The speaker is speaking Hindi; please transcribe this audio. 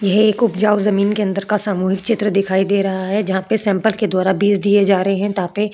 यह एक उपजाऊ जमीन के अंदर का सामूहिक चित्र दिखाई दे रहा है। जहां पे सैंपल के द्वारा बीज दिए जा रहे हैं। तापे --